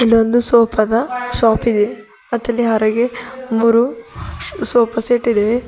ಇದೊಂದು ಸೋಫಾ ದ ಶಾಪ್ ಇದೆ ಮತ್ತಿಲ್ಲಿ ಹರಗೆ ಮೂರು ಸೋಫಾ ಸೆಟ್ ಇದಾವೆ.